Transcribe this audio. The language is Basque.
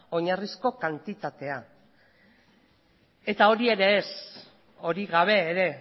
oinarrizko kantitatea eta hori ere ez hori gabe ere